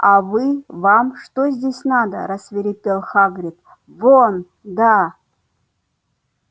а вы вам что здесь надо рассвирепел хагрид вон да